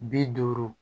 Bi duuru